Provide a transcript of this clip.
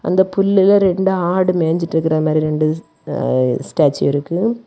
அந்த புல்லுல ரெண்டு ஆடு மேஞ்சிகிட்டு இருக்குறதமாரி ரெண்டு ஸ்டாச்சு இருக்கு.